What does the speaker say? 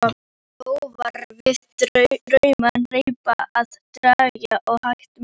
Þó var við ramman reip að draga og hægt miðaði.